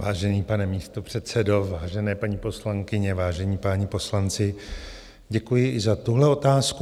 Vážený pane místopředsedo, vážené paní poslankyně, vážení páni poslanci, děkuji i za tuhle otázku.